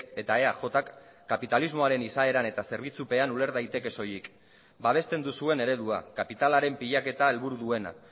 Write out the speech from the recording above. eta eajk kapitalismoaren izaeran eta zerbitzupean uler daiteke soilik babesten duzuen eredua kapitalaren pilaketa helburu duena